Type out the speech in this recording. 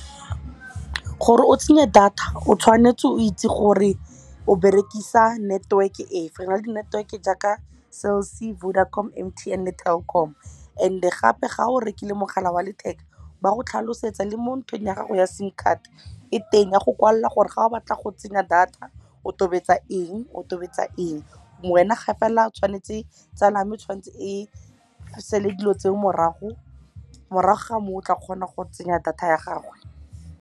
Gore o tsenya data, o tshwanetse o itse gore o berekisa network-e efe. Re na le di-network-e jaaka Cell C, Vodacom, Telkom. And-e gape ga o rekile mogala wa letheka, ba go tlhalosetsa le mo nthong ya gago ya SIM card e teng ya go kwalela gore ga o batla go tsenya data o tobetsa eng, o tobetsa eng. Wena gape fela tsala ya me e tshwanetse e sale dilo tseo morago, morago ga moo o tla kgona go tsenya data ya gagwe.